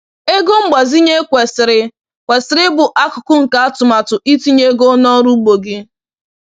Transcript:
Ego mgbazinye kwesịrị kwesịrị ịbụ akụkụ nke atụmatụ itinye ego n’ọrụ ugbo gị.